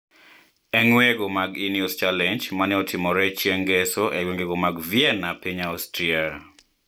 E ng`weyogo mag Ineos Challenge ma ne otimore chieng` ngeso e gwenge ma Vienna piny Austria.